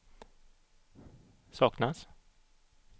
saknas